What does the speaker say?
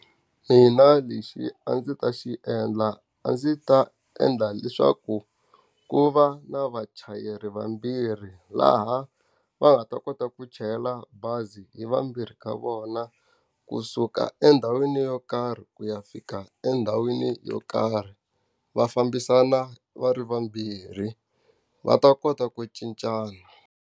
Mina lexi a ndzi ta xi endla a ndzi ta endla leswaku ku va na vachayeri vambirhi laha va nga ta kota ku chayela bazi hi vanhu vambirhi ka vona, kusuka endhawini yo karhi ku ya fika endhawini yo karhi. Va fambisana va ri vambirhi, va ta kota ku cincana.